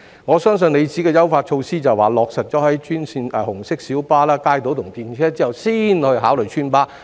我相信局長的意思是，在將優化措施落實於紅色小巴、街渡和電車後才考慮邨巴。